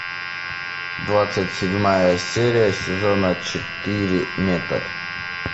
двадцать седьмая серия сезона четыре метод